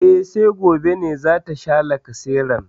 E, sai gobe ne za ta sha lacaseran.